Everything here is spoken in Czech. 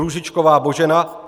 Růžičková Božena